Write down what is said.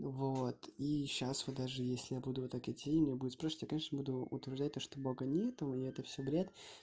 вот и сейчас вы даже если я буду вот так иди и у меня будут спрашивать я конечно буду утверждать что бога нет и это всё бред